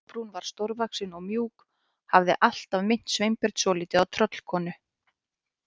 Kolbrún var stórvaxin og mjúk, hafði alltaf minnt Sveinbjörn svolítið á tröllkonu.